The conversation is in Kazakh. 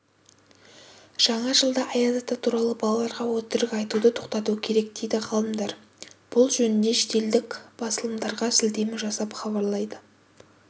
жаңа жылда аяз ата туралы балаларға өтірік айтуды тоқтату керек дейді ғалымдар бұл жөнінде шетелдік басылымдарға сілтеме жасап хабарлайды